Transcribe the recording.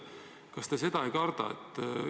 Kas te seda ei karda?